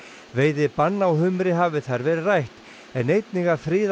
veiðibann á humri hafi þar verið rætt en einnig að friða